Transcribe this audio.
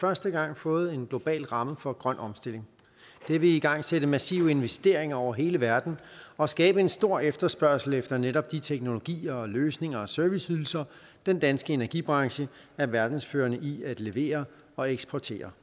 første gang fået en global ramme for grøn omstilling det vil igangsætte massive investeringer over hele verden og skabe en stor efterspørgsel efter netop de teknologier løsninger og serviceydelser den danske energibranche er verdensførende i at levere og eksportere